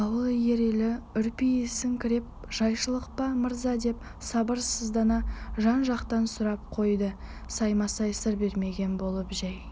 ауыл иелері үрпиісіңкіреп жайшылық па мырза деп сабырсыздана жан-жақтан сұрақ қойды саймасай сыр бермеген болып жәй